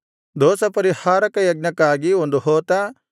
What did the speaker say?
ದೋಷಪರಿಹಾರಕ ಯಜ್ಞಕ್ಕಾಗಿ ಒಂದು ಹೋತ